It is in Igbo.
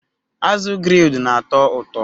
Azụ grilled na-atọ ụtọ